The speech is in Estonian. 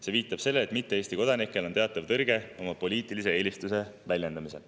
See viitab sellele, et mitte Eesti kodanikel on teatav tõrge oma poliitilise eelistuse väljendamisel.